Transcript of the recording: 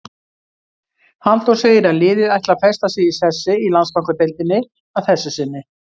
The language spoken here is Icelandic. Halldór segir að liðið ætli að festa sig í sessi í Landsbankadeildinni að þessu sinni.